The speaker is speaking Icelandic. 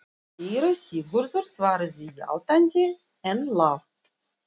Síra Sigurður svaraði játandi, en lágt.